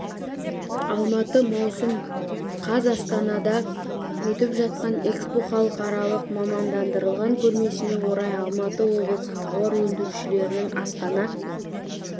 алматы маусым қаз астанада өтіп жатқан экспо халықаралық мамандандырылған көрмесіне орай алматы облысы тауар өндірушілерінің астана